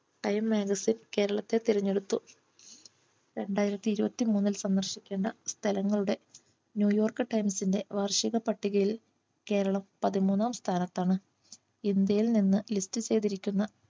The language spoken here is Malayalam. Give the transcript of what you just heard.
Time Magazine കേരളത്തെ തിരഞ്ഞെടുത്തു രണ്ടായിരത്തി ഇരുപത്തി മൂന്നിൽ സന്ദർശിക്കുന്ന സ്ഥലങ്ങളുടെ New York times ന്റെ വാർഷിക പട്ടികയിൽ കേരളം പതിമൂന്നാം സ്ഥാനത്താണ് ഇന്ത്യയിൽ നിന്ന് list ചെയ്തിരിക്കുന്ന